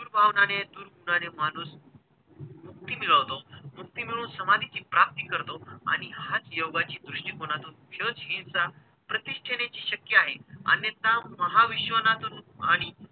सूडभावनाने, दुर्गुणाने माणूस मुक्ती मिळवतो. मुक्ती मिळवून समाधीची प्राप्ती करतो आणि हाच योगाची दृष्टिकोनातून सहनशीलता प्रतिष्ठेने जी शक्य आहे, अन्यथा महाविश्वनाचं रूप आणि,